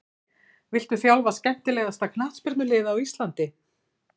Viltu þjálfa skemmtilegasta knattspyrnulið á Íslandi?